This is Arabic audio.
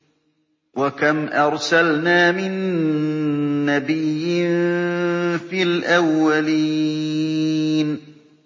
وَكَمْ أَرْسَلْنَا مِن نَّبِيٍّ فِي الْأَوَّلِينَ